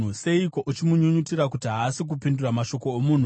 Seiko uchimunyunyutira kuti haasi kupindura mashoko omunhu?